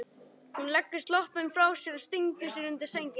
Hún leggur sloppinn frá sér og stingur sér undir sængina.